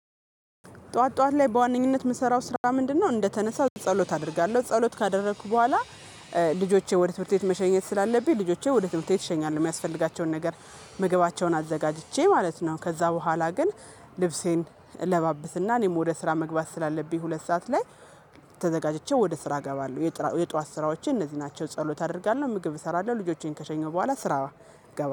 ጠዋት ጠዋት ላይ በዋነኝነት የምሰራው ስራ ምንድነው እንደተነሳው ጸሎት አደርጋለሁ ጸሎት ካደረኩ በኋላ። ልጆቼ ወደ ትምህርት ቤት መሸኘት ስላለብኝ ልጆቼ ወደ ትምህርት ቤት እሸኛለሁ የሚያስፈልጋቸውን ነገር ምግባቸውን አዘጋጅቼ ማለት ነው። ከዛ በኋላ ግን ልብሴን እለባብስና እኔም ወደ ስራ መግባት ስላለብኝ ሁለት ሰዓት ላይ። ተዘጋጅቼ ወደ ስራ እገባለሁ የጠዋት ስራዎቼ እነዚህ ናቸው። ጸሎት አደርጋለሁ ምግብ እሰራለሁ ልጆቼን ከሸኘው በኋላ ስራ እገባለሁ